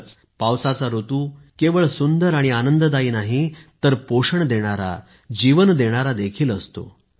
खरंच पावसाचा ऋतू केवळ सुंदर आणि आनंददायी नाही तर पोषण देणारा जीवन देणारा देखील असतो